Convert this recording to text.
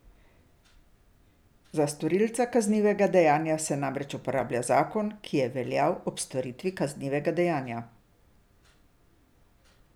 Za storilca kaznivega dejanja se namreč uporablja zakon, ki je veljal ob storitvi kaznivega dejanja.